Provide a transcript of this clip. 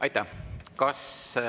Aitäh!